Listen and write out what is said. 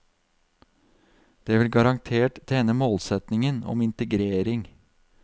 Det vil garantert tjene målsetningen om integrering.